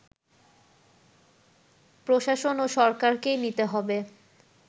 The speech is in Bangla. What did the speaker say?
প্রশাসন ও সরকারকেই নিতে হবে